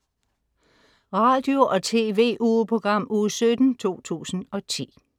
Radio- og TV-ugeprogram Uge 17, 2010